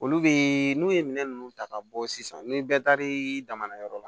Olu be n'u ye minɛn nunnu ta ka bɔ sisan ni bɛɛ taar'i daŋa na yɔrɔ la